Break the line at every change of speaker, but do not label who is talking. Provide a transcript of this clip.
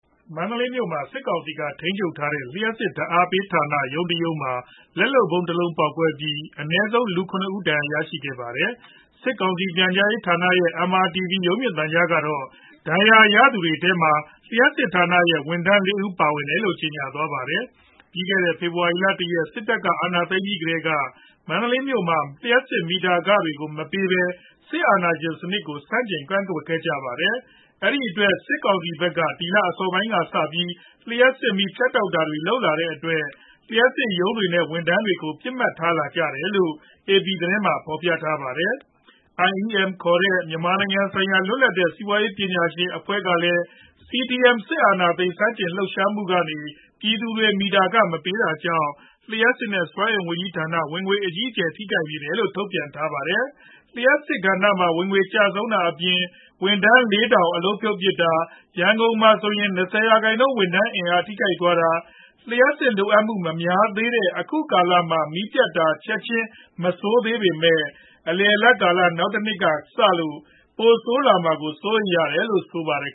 မန္တလေးမြို့မှာ စစ်ကောင်စီက ထိန်းချုပ်ထားတဲ့ လှုပ်စစ်ဓါတ်အားပေးဌာန ရုံးတရုံးမှာ လက်လုပ်ဗုံးတလုံးပေါက်ကွဲပြီး အနည်းဆုံး လူ၇ဦး ဒဏ်ရာရရှိခဲ့ပါတယ်။ စစ်ကောင်စီ ပြန်ကြားရေးဌာနရဲ့ MRTV ရုပ်မြင်သံကြားကတော့ ဒဏ်ရာရသတွေထဲမှာ လျှပ်စစ်ဌာနရဲ့ ဝန်ထမ်း၄ဦး ပါဝင်တယ်လို့ ကျေညာသွားပါတယ်။ ပြီးခဲ့တဲ့ ဖေဖော်ဝါရီလ ၁ရက် စစ်တပ်အာဏာသိမ်းပြီးကတည်းက မန္တလေးမြို့မှာ လျှပ်စစ်မီတာခတွေကို မပေးပဲ စစ်အာဏာရှင်စနစ်ကို ဆန့်ကျင်ကန့်ကွက်ခဲ့ကြပါတယ်။ အဲဒီအတွက် စစ်ကောင်စီဖက်က ဒီလအစောပိုင်းကစပြီး လျှပ်စစ်မီးဖြတ်တောက်တာတွေလုပ်လာတဲ့အတွက် လျှပ်စစ်ရုံးတွေနဲ့ ဝန်ထမ်းတွေကို ပစ်မှတ်ထားလာတယ်လို့ APသတင်းမှာ ဖော်ပြထားပါတယ်။ IEM ခေါ်တဲ့ မြန်မာနိုင်ငံဆိုင်ရာ လွတ်လပ်တဲ့ စီးပွားရေးပညာရှင်များအဖွဲ့ကလည်း CDM စစ်အာဏာသိမ်းဆန့်ကျင်လူပ်ရှားမူကနေ ပြည်သူတွေမီတာခမပေးတာကြောင့်၊ လျှပ်စစ်နဲ့စွမ်းအင်ဝန်ကြီးဌာနဝင်ငွေ အကြီးအကျယ်ထိခိုက်နေတယ်လို့ ထုတ်ပြန်ထားပါတယ်။ အဲဒီလိုလျှပ်စစ်ကဏ္ဍမှာ ဝင်ငွေကျဆုံးတာအပြင်၊ ဝန်ထမ်း ၄၀၀၀ အလုပ်ဖြုတ်ပစ်တာက၊ ရန်ကုန်မှာဆိုရင် ၂၀% ဝန်ထမ်း အင်အားထိခိုက်သွားကာ၊ လျှပ်စစ်လိုအပ်မူမများသေးတဲ့အခုကာလတိုမှာ မီးပြတ်တာ ချက်ချင်းမဆိုးလာနိုင်ပေမဲ့၊ အလယ်အလတ်ကာလ နောက်တနှစ်လောက်ကစ၊ ပိုဆိုးလာမှာကို စိုးရိမ်ရတယ်လို့ ဆိုပါတယ်